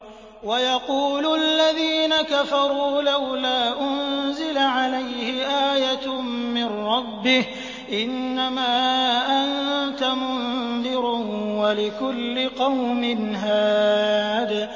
وَيَقُولُ الَّذِينَ كَفَرُوا لَوْلَا أُنزِلَ عَلَيْهِ آيَةٌ مِّن رَّبِّهِ ۗ إِنَّمَا أَنتَ مُنذِرٌ ۖ وَلِكُلِّ قَوْمٍ هَادٍ